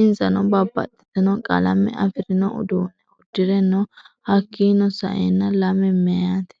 Insano babaxitino qalame afirino uduune uddire no hakiino sa'eena lame miyaate